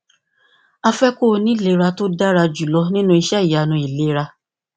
a fẹ kí o ní ìlera tó dára jù lọ nínú iṣẹ ìyanu ìlera